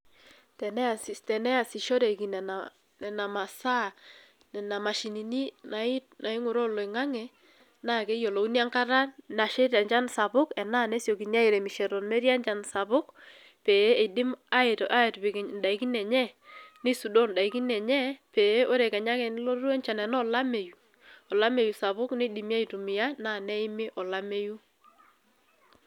Teneasishoreki nena masaa, nena mashinini naing'uraa oloing'ang'e, na keyiolouni enkata nasheita enchan sapuk enaa nesiokini airemisho metii enchan sapuk, pee idim atipik idaikin enye, nisudoo daikin enye pee ore kenya ake pelotu enchan enoo olameyu, olameyu sapuk nidimi aitumia, naa neimi olameyu